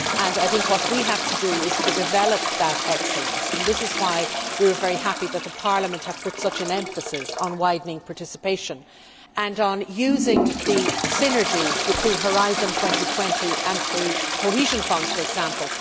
I think what we have to do is to develop that excellence, and this is why we are very happy that Parliament has put such an emphasis on widening participation and on using the synergies between Horizon 2020 and the cohesion funds, for example.